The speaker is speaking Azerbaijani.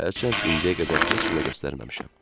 Hərçənd indiyə qədər heç kimə göstərməmişəm.